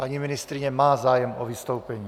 Paní ministryně má zájem o vystoupení.